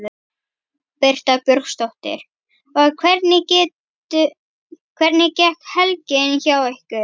Birta Björnsdóttir: Og hvernig gekk helgin hjá ykkur?